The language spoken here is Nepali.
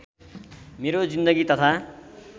मेरो जिन्दगी तथा